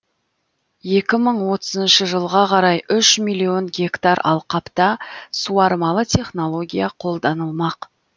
ал екі мың отызыншы жылға қарай үш миллион гектар алқапта суармалы технология қолданылмақ